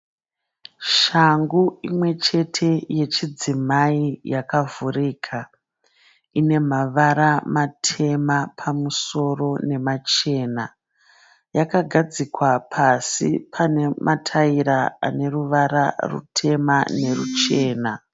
Shangu imwe chete yechidzimai yakavhurika. Ine mavara matema pamusoro nemachena. Yakagadzikwa pasi pane mataira ane ruvara rutema neruchena.